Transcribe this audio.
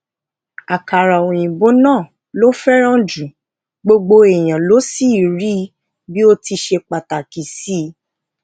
akara oyinbo naa ló féràn jù gbogbo èèyàn ló sì rí i bi ó ti ṣe pàtàkì sí í